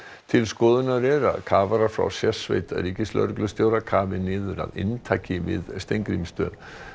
til skoðunar er að kafarar frá sérsveit ríkislögreglustjóra kafi niður að inntaki við Steingrímsstöð